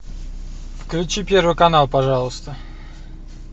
включи первый канал пожалуйста